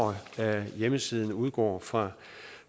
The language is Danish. hjemmesiden udgår fra